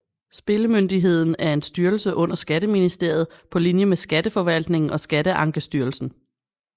Spillemyndigheden er en styrelse under Skatteministeriet på linje med Skatteforvaltningen og Skatteankestyrelsen